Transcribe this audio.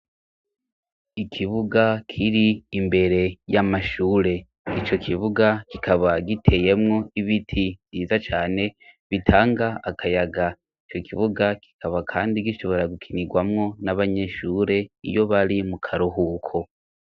Ikibuga kiri imbere y'amashure. Ico kibuga kikaba giteyemwo ibiti vyiza cane bitanga akayaga. Ico kibuga kikaba kandi gishobora gukinirwamwo n'abanyeshure iyo bari mu karuhuko.